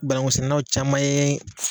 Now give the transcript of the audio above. banankusɛnɛnaw caman ye